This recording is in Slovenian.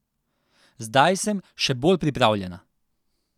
Zdaj sem še bolj pripravljena.